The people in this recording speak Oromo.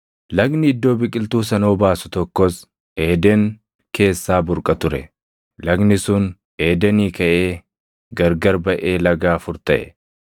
Lagni iddoo biqiltuu sana obaasu tokkos Eeden keessaa burqa ture; lagni sun Eedenii kaʼee gargar baʼee laga afur taʼe.